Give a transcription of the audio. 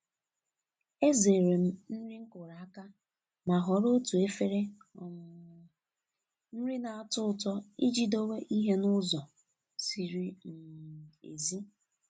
Ezere m nri nkuru aka ma họrọ otu efere um nri na-atọ ụtọ iji dowe ihe n'ụzọ ziri um ezi.